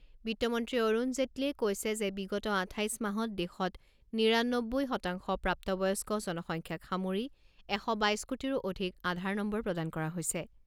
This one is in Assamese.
বিত্তমন্ত্ৰী অৰুণ জেটলীয়ে কৈছে যে বিগত আঠাইছ মাহত দেশৰ নিৰানহ্বৈ শতাংশ প্ৰাপ্ত বয়স্ক জনসংখ্যাক সামৰি এশ বাইছ কোটিৰো অধিক আধাৰ নম্বৰ প্ৰদান কৰা হৈছে।